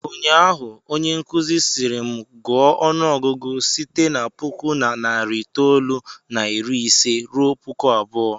Ụnyaahụ, onyenkụzi sịrị m, gụọ ọnụọgụgụ site na puku na narị itoolu na iri ise ruo puku abụọ!